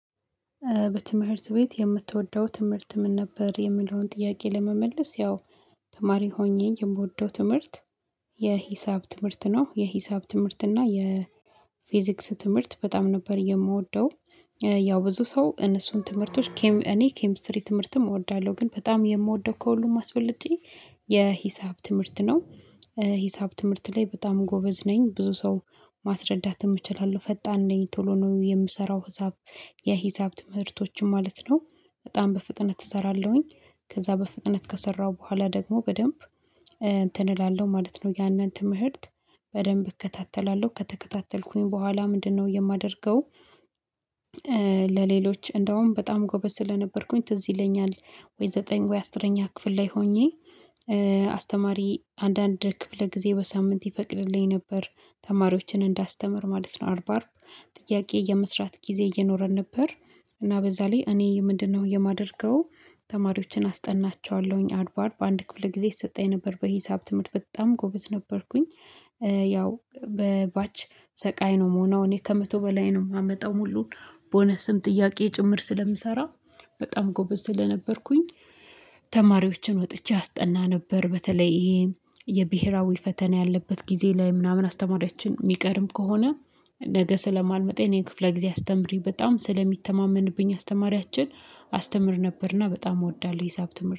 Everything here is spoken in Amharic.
በትምህርት ቤት የምትወደው ትምህርት ምን? ነበር የሚለውን ጥያቄ ለመመለስ ያው ተማሪ ሆኜ የምወደው ትምህርት የሂሳብ ትምህርት ነው የሂሳብ ትምህርት እና የፊዚክስ ትምህርት በጣም ነበር የምወደው። ያው ብዙ ሰው እነሱን ትምህርቶች እኔ ኬሚስትሪ ትምህርትም እወዳለሁ ግን በጣም የምወደው ከሁሉም አስበልጨ የሂሳብ ትምህርት ነው። ሂሳብ ትምህርት ላይ በጣም ጎበዝ ነኝ ብዙ ሰው ማስረዳትም እችላለሁ ፈጣን ነኝ ቶሎ ነው የምሰራው ሂሳብ የሂሳብ ትምህርቶችም ማለት ነው በጣም በፍጥነት እሰራለሁኝ። ከዛ በፍጥነት ከሰራሁ በኋላ ደግሞ በደንብ እላለሁ ማለት ነው ያንን ትምህርት በደንብ እከታተላለሁ ከተከታተልኩኝ በኋላ ምንድነው የማደርገው? ለሌሎች እንደውም በጣም ጎበዝ ስለነበርኩኝ ትዝ ይለኛል ወይ ዘጠኝ ወይ አስረኛ ክፍል ላይ ሆኜ አስተማሪ አንዳንድ ክፍለ ጊዜ በሳምንት ይፈቅድልኝ ነበር ተማሪዎችን እንዳስተምር ማለት ነው። አርባ አርብ ጥያቄ የመስራት ጊዜ እየኖረን ነበር። እና በዛ ላይ እኔ ምንድነው የማደርገው ተማሪዎችን አስጠናቸዋለሁኝ አርብ አርብ ክፍለ ጊዜ ይሰጠኝ ነበር በሂሳብ ትምህርት በጣም ጎበዝ ነበርኩኝ። ያው በባች ሰቃይ ነው ምሆነው እኔ ከመቶ በላይ ነው የማመጣው ሙሉን ቦነስም ጥያቄ ጭምር ስለምሰራ በጣም ጎበዝ ስለነበርኩኝ። ተማሪወችን ወጥቼ አስጠና ነበር በተለይ ይሄ የብሄራዊ ፈተና ያለበት ጊዜ ላይ ምናምን አስተማሪያችን የሚቀርም ከሆነ ነገ ስለማልመጣ የእኔን ክፍለ ጊዜ አስተምሪ በጣም ስለሚተማመንብኝ አስተምር። ነበርና በጣም እወዳለሁ ሂሳብ ትምህርት